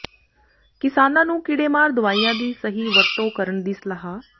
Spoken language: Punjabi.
ਕਿਸਾਨਾਂ ਨੂੰ ਕੀੜੇਮਾਰ ਦਵਾਈਆਂ ਦੀ ਸਹੀ ਵਰਤੋਂ ਕਰਨ ਦੀ ਸਲਾਹ